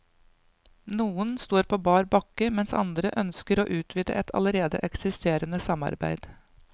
Noen står på bar bakke, mens andre ønsker å utvide et allerede eksisterende samarbeid.